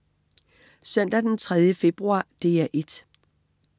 Søndag den 3. februar - DR 1: